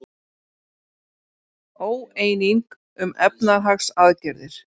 Óeining um efnahagsaðgerðir